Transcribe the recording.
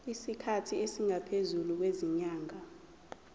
isikhathi esingaphezulu kwezinyanga